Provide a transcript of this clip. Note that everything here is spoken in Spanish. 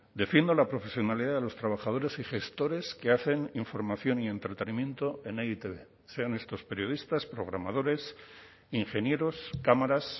defiendo la profesionalidad de los trabajadores y gestores que hacen información y entretenimiento en e i te be sean estos periodistas programadores ingenieros cámaras